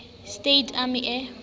states army air